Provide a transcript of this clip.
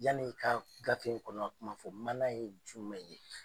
Yani n ka f gafe in kɔnɔ kuma fɔ mana ye jumɛn ye?